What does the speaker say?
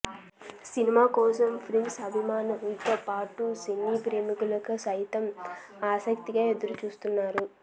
cinema కోసం prince అభిమానులతో పాటు సినీ ప్రేమికులు సైతం ఆసక్తిగా ఎదురుచూస్తున్నారు